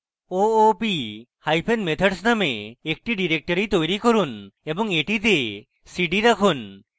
oopmethods মানে একটি directory তৈরী করুন এবং এটিতে cd রাখুন